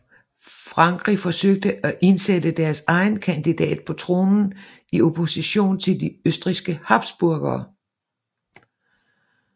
Frankrig forsøgte at indsætte deres egen kandidat på tronen i opposition til de østrigske Habsburgere